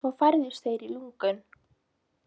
Svo færðust þeir í lungun.